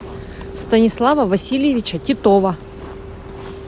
станислава васильевича титова